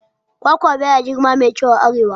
Kwakwa baya girma mai kyau a arewa